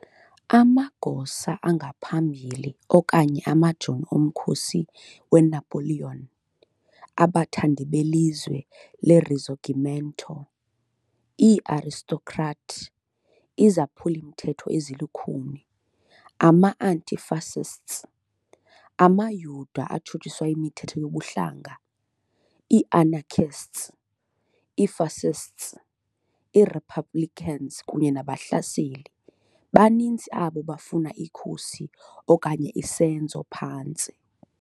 Amagosa angaphambili okanye amajoni omkhosi weNapoleon , abathandi belizwe leRisorgimento, ii-aristocrat, izaphuli-mthetho ezilukhuni, ama -anti-fascists, amaYuda atshutshiswa yimithetho yobuhlanga, i- anarchists, i- fascists, i-republicans kunye nabahlaseli, baninzi abo bafuna ikhusi okanye isenzo phantsi.